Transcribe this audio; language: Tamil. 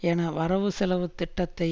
என வரவுசெலவு திட்டத்தை